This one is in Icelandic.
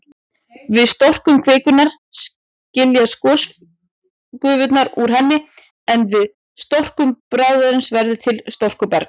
Við storknun kvikunnar skiljast gosgufurnar úr henni, en við storknun bráðsins verður til storkuberg.